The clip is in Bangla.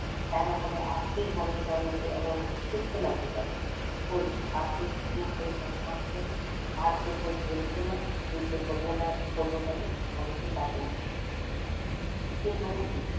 তা না হলে আজকেই বলায় পাগলাকে এমন সুস্থ লাগছে কেন। কই আরতো পা কাঁপছে না। আর তো কই বলছেনা যুদ্ধ করবো না করবো কেন আমি কি পাগলা? কিন্তু ও কি,